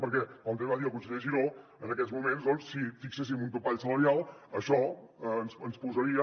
perquè com també va dir el conseller giró en aquests moments doncs si fixéssim un topall salarial això ens imposaria